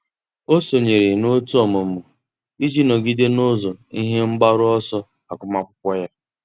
Ọ́ sònyèrè n’òtù ọ́mụ́mụ́ iji nọ́gídé n’ụ́zọ́ ihe mgbaru ọsọ agụmakwụkwọ ya.